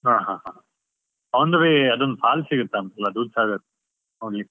ಹ ಹ ಹ, on the way ಅದೊಂದ್ falls ಸಿಗತ್ತಲ್ಲ, ಧೂದ್ಸಾಗರ್ only .